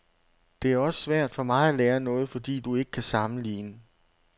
Det er også svært for mig at lære noget, fordi du ikke kan sammenligne.